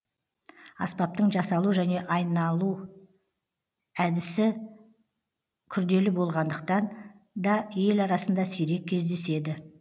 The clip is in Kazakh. аспаптың жасалу және айналу әдісі күрделі болғандықтан да ел арасында сирек кездеседі